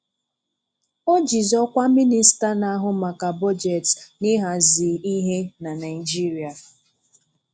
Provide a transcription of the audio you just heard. O jìzì ọ̀kwà Minista na-ahụ maka bọ́jetị na ị̀hàzi ihe na Naịjíríà.